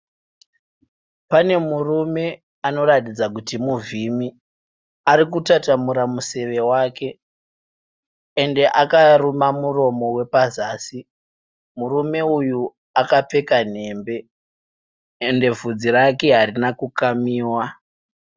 Pane murume anoratidza kuti muvhimi, arikutatamura museve wake uye akaruma muromo wepazasi murume uyu akapfeka nhembe uye bvudzi rake harina kukamiwa.